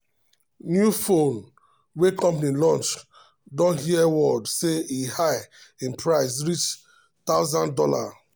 new phone wey company launch don hear word say e high in price reach thousand dollar.